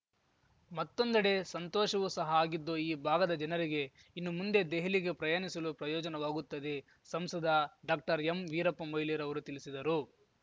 ಮತ್ತೊಂದೆಡೆ ಸಂತೋಷವೂ ಸಹ ಆಗಿದ್ದು ಈ ಭಾಗದ ಜನರಿಗೆ ಇನ್ನು ಮುಂದೆ ದೆಹಲಿಗೆ ಪ್ರಯಾಣಿಸಲು ಪ್ರಯೋಜನವಾಗುತ್ತದೆ ಸಂಸದ ಡಾಕ್ಟರ್ಎಂವೀರಪ್ಪ ಮೊಯ್ಲಿ ರವರು ತಿಳಿಸಿದರು